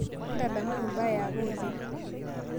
ntadamuaki mbaa eapa oleng